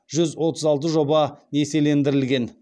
жүз отыз алты жоба несиелендірілген